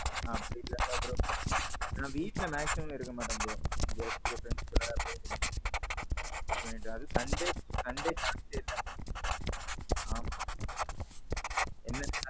அப்பிடி எல்லாம் இல்ல bro. நான் வீட்ல maximum இருக்க மாட்டடேன் bro. எங்கயாவது சூத்திகிட்டே இருப்பேன் friends கூட அப்படியே, எங்கயாவது. Sunday chanceஎ இல்ல. ஆமாம். என்ன.